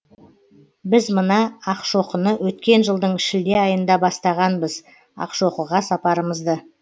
біз мына ақшоқыны өткен жылдың шілде айында бастағанбыз ақшоқыға сапарымызды